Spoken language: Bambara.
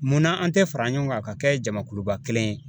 Munna an tɛ fara ɲɔgɔn kan ka kɛ jamakuluba kelen ye.